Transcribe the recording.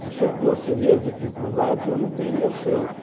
Porque se eu fosse ver as dificuldades, eu não teria aceito.